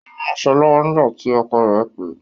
Ó ń ránsọ̀ lọwọ́ nígbà tí ọkọ̀ rẹ̀ pè